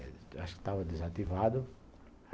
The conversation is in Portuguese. Acho que estava desativado.